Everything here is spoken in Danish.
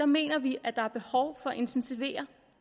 mener vi at der er behov for at intensivere